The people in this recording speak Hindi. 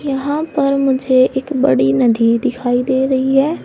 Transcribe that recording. यहां पर मुझे एक बड़ी नदी दिखाई दे रही है।